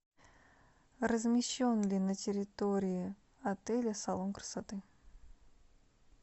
размещен ли на территории отеля салон красоты